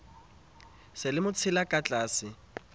se le motshela ka ditlatse